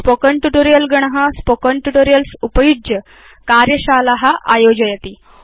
spoken tutorial गण spoken tutorials उपयुज्य कार्यशाला आयोजयति